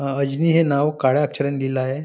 अ अजनी हे नाव काळ्या अक्षराने लिहील आहे.